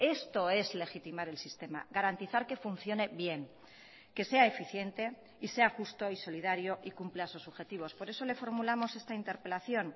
esto es legitimar el sistema garantizar que funcione bien que sea eficiente y sea justo y solidario y cumpla sus objetivos por eso le formulamos esta interpelación